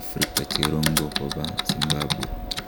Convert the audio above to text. Afrika cheroonko kobaa Zimbabwe